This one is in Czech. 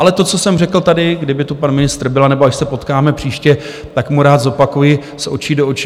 Ale to, co jsem řekl tady, kdyby tu pan ministr byl, anebo až se potkáme příště, tak mu rád zopakuji z očí do očí.